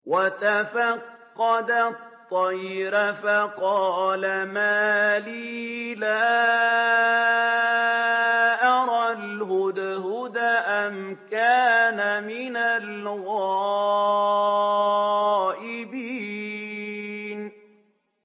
وَتَفَقَّدَ الطَّيْرَ فَقَالَ مَا لِيَ لَا أَرَى الْهُدْهُدَ أَمْ كَانَ مِنَ الْغَائِبِينَ